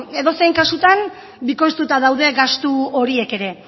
beno edozein kasutan bikoiztuta daude gastu horiek ere